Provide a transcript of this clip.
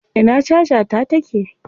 Ina caja ta take?